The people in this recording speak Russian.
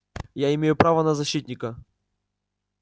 я имею право на защитника